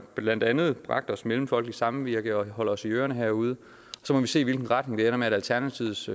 blandt andet har bragt os mellemfolkeligt samvirke og at de holder os i ørerne herude så må vi se i hvilken retning det ender med at alternativets